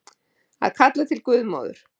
Að kalla til guðmóður